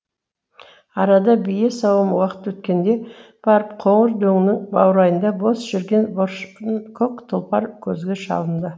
арада бие сауым уақыт өткенде барып қоңыр дөңнің баурайында бос жүрген баршынкөк тұлпар көзге шалынды